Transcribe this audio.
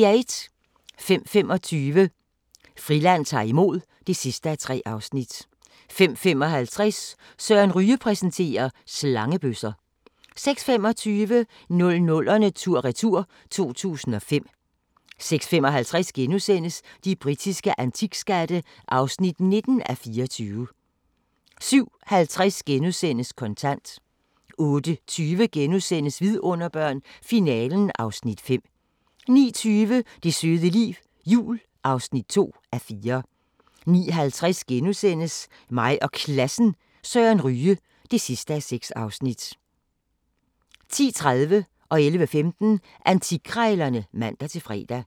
05:25: Friland ta'r imod (3:3) 05:55: Søren Ryge præsenterer: Slangebøsser 06:25: 00'erne tur-retur: 2005 06:55: De britiske antikskatte (19:24)* 07:50: Kontant * 08:20: Vidunderbørn – Finalen (Afs. 5)* 09:20: Det søde liv – jul (2:4) 09:50: Mig og Klassen – Søren Ryge (6:6)* 10:30: Antikkrejlerne (man-fre) 11:15: Antikkrejlerne (man-fre)